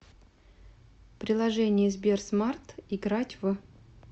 приложение сберсмарт играть в